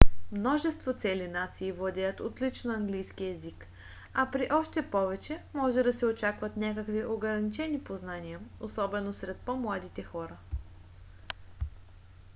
множество цели нации владеят отлично английски език а при още повече може да се очакват някакви ограничени познания - особено сред по-младите хора